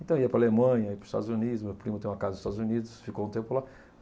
Então ia para Alemanha, ia para os Estados Unidos, meu primo tem uma casa nos Estados Unidos, ficou um tempo lá.